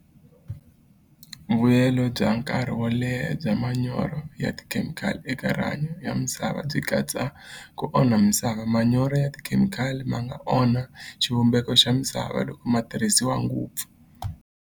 Vuyelo bya nkarhi wo leha bya manyoro ya tikhemikhali eka rihanyo ya misava byi katsa ku onha misava manyoro ya tikhemikhali ma nga onha xivumbeko xa misava loko ma tirhisiwa ngopfu.